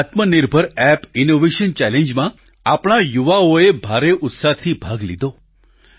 આ આત્મનિર્ભર Bharat app innovation ચેલેન્જમાં આપણા યુવાઓએ ભારે ઉત્સાહથી ભાગ લીધો